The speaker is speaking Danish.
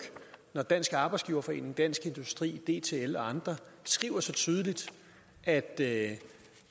når dansk arbejdsgiverforening dansk industri dtl og andre skriver så tydeligt at at